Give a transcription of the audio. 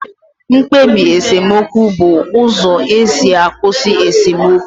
Mkpebi esemokwu bụ uzo esi akwụsị esemokwu